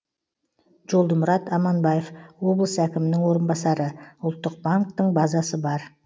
жолдымұрат аманбаев облыс әкімінің орынбасары ұлттық банктің базасы бар